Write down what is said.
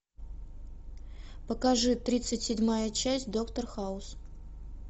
покажи тридцать седьмая часть доктор хаус